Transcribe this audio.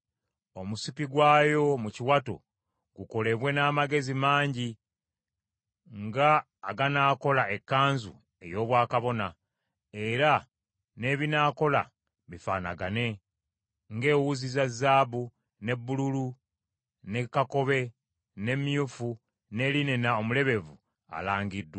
Omusipi gwayo mu kiwato gukolebwe n’amagezi mangi nga aganaakola ekkanzu ey’obwakabona, era n’ebinaakola bifaanagane, ng’ewuzi za zaabu, ne bbululu, ne kakobe, ne myufu, ne linena omulebevu alangiddwa.